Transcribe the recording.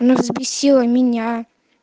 ну взбесила меня